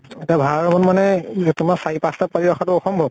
এতিয়া ভাড়া room ত মানে ই তোমাৰ চাৰি পাঁছ টা পোৱালী ৰাখা টো অসম্ভব।